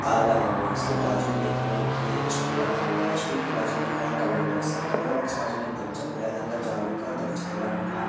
ताला लगा हुआ इसके बाजू में देखा कि एक स्टूल रखा हुआ है स्टूल के बाजू में एक और कवर्ड बॉक्स है कवर्ड बॉक्स बाजू में दरवज्जा खुला है अंदर जाओगे एक और दरवज्जा खुला है मकान है।